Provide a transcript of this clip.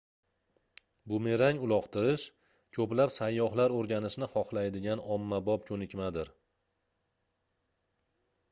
bumerang uloqtirish koʻplab sayyohlar oʻrganishni xohlaydigan ommabop koʻnikmadir